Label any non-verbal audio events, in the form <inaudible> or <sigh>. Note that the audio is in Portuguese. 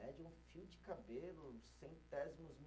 <unintelligible> fio de cabelo, centésimos